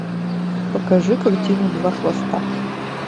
покажи картину два хвоста